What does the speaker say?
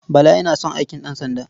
Bala yana son aikin ɗansanda.